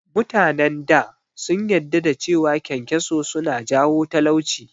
Mutanen da sun yadda da cewa kyankyaso suna jawo talauci